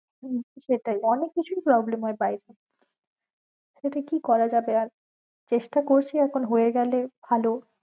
কিন্তু সেটাই, অনেক কিছুই problem হয়ে বায়েরে সেটা কি করা যাবে আর চেষ্টা করছি এখন হয়েগেলে ভালো।